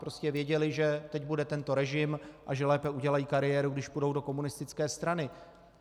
Prostě věděli, že teď bude tento režim a že lépe udělají kariéru, když půjdou do komunistické strany.